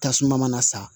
Tasuma mana sa